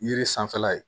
Yiri sanfɛla ye